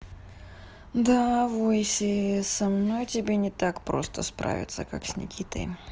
да войси со мной тебе не так просто справиться как с никитой